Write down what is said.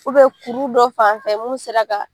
kuru dɔ fan fɛ mun sera ka